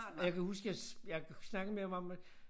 Jeg kan huske jeg jeg snakkede med ham om det